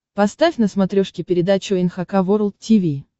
поставь на смотрешке передачу эн эйч кей волд ти ви